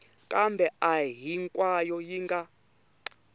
kambe a hinkwayo yi nga